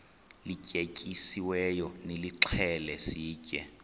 lityetyisiweyo nilixhele sitye